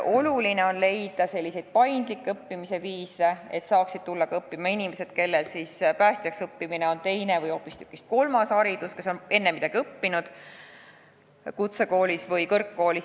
Oluline on leida selliseid paindlikke õppimise viise, et õppima saaksid tulla ka inimesed, kellele päästjaks õppimine on teine või hoopistükkis kolmas haridus, kes on enne midagi õppinud kutsekoolis või kõrgkoolis.